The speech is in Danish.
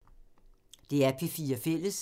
DR P4 Fælles